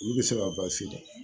Olu bɛ se ka